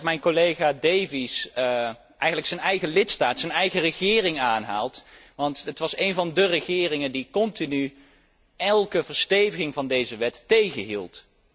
Ik ben blij dat mijn collega Davies zijn eigen lidstaat, zijn eigen regering aanhaalt, want het was een van de regeringen die continu elke aanscherping van deze wet tegenhielden.